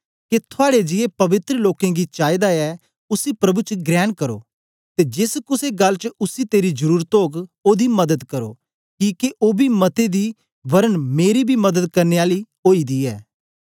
के थुआड़े जिए पवित्र लोकें गी चाईदा ऐ उसी प्रभु च ग्रेण करो ते जेस कुसे गल्ल च उसी तेरी जरुरत ओग ओदी मदद करो किके ओ बी मते दी वरन मेरी बी मदद करने आली ओई दी ऐ